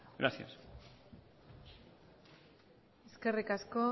gracias eskerrik asko